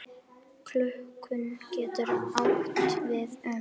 Túlkun getur átt við um